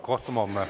Kohtume homme.